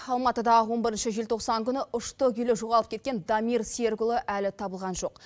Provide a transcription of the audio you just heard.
алматыда он бірінші желтоқсан күні ұшты күйлі жоғалып кеткен дамир серікұлы әлі табылған жоқ